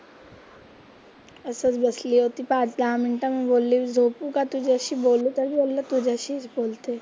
असंच बसली होती पाच-दहा मिनिट झोपू का तुझ्याशी बोलतच तुझ्याशी बोलते.